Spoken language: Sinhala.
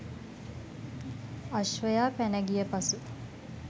අශ්වයා පැන ගිය පසු